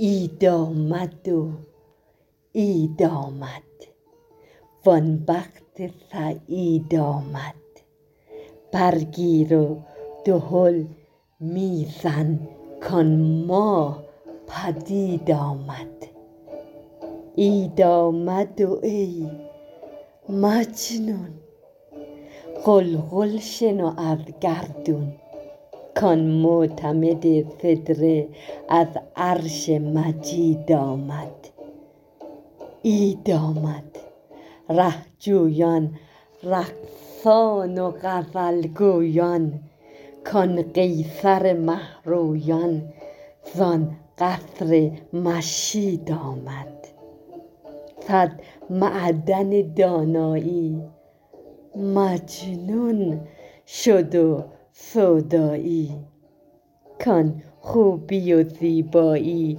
عید آمد و عید آمد وان بخت سعید آمد برگیر و دهل می زن کآن ماه پدید آمد عید آمد ای مجنون غلغل شنو از گردون کآن معتمد سدره از عرش مجید آمد عید آمد ره جویان رقصان و غزل گویان کآن قیصر مه رویان زان قصر مشید آمد صد معدن دانایی مجنون شد و سودایی کآن خوبی و زیبایی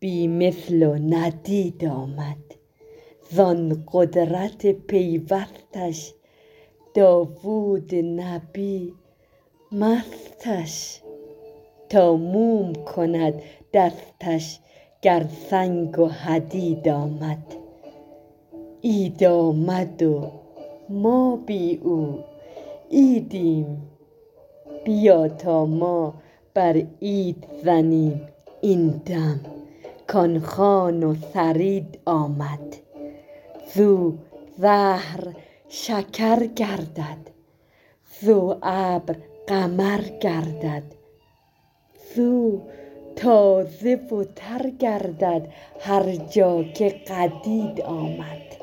بی مثل و ندید آمد زان قدرت پیوستش داوود نبی مستش تا موم کند دستش گر سنگ و حدید آمد عید آمد و ما بی او عیدیم بیا تا ما بر عید زنیم این دم کآن خوان و ثرید آمد زو زهر شکر گردد زو ابر قمر گردد زو تازه و تر گردد هر جا که قدید آمد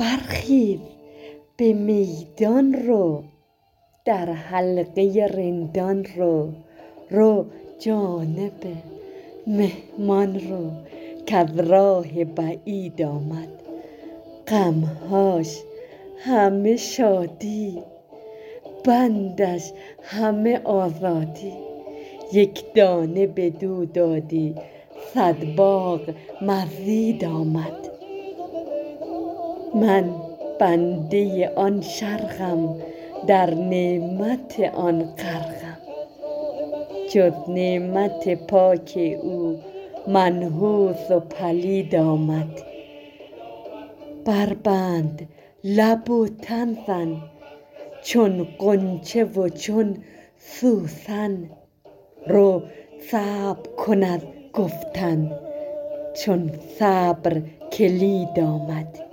برخیز به میدان رو در حلقه رندان رو رو جانب مهمان رو کز راه بعید آمد غم هاش همه شادی بندش همه آزادی یک دانه بدو دادی صد باغ مزید آمد من بنده آن شرقم در نعمت آن غرقم جز نعمت پاک او منحوس و پلید آمد بربند لب و تن زن چون غنچه و چون سوسن رو صبر کن از گفتن چون صبر کلید آمد